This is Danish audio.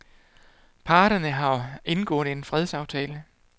Parterne har indgået en fredsaftale.